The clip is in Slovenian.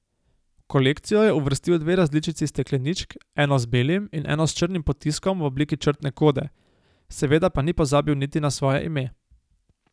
V kolekcijo je uvrstil dve različici stekleničk, eno z belim in eno s črnim potiskom v obliki črtne kode, seveda pa ni pozabil niti na svoje ime.